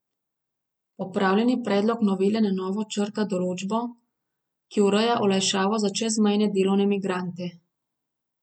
Popravljeni predlog novele na novo črta določbo, ki ureja olajšavo za čezmejne delovne migrante.